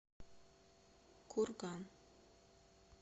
курган